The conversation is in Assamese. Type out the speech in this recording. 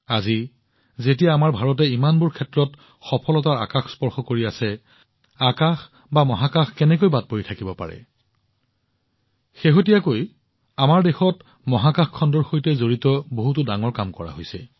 আজি যেতিয়া আমাৰ ভাৰতে ইমানবোৰ ক্ষেত্ৰত সফলতাৰ আকাশ স্পৰ্শ কৰি আছে আকাশ বা মহাকাশ ইয়াৰ দ্বাৰা কেনেকৈ অস্পৃশ্য হৈ থাকিব পাৰে শেহতীয়াকৈ আমাৰ দেশত মহাকাশখণ্ডৰ সৈতে সম্পৰ্কিত বহুতো ডাঙৰ কাম সংঘটিত হৈছে